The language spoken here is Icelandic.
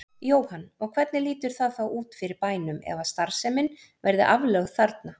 Jóhann: Og hvernig lítur það þá út fyrir bænum ef að starfsemin verði aflögð þarna?